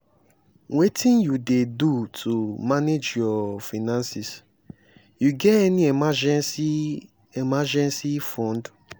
wetin you dey do to manage your finances you get any emergency emergency fund?